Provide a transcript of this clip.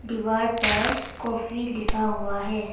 दीवार पर काफी लिखा हुआ है।